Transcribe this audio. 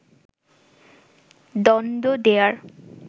দণ্ড দেয়ার